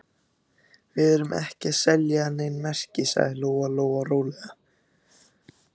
Við erum ekki að selja nein merki, sagði Lóa-Lóa rólega.